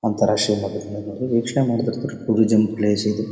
ಒಂಥರಾ ಶಿವಮೊಗ್ಗದಿಂದ ನೋಡಿದ್ರೆ ವೀಕ್ಷಣೆ ಮಾಡ್ತಿರ್ತಾರೆ ಟೂರಿಜಮ್ ಇದು.